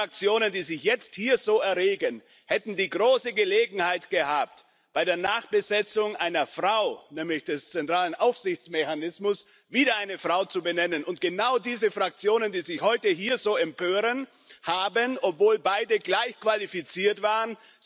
Die Fraktionen, die sich jetzt hier so erregen, hätten die große Gelegenheit gehabt, bei der Nachbesetzung einer Frau, nämlich des zentralen Aufsichtsmechanismus, wieder eine Frau zu benennen, und genau diese Fraktionen, die sich heute hier so empören, haben sich für den Mann entschieden, obwohl beide gleich qualifiziert waren.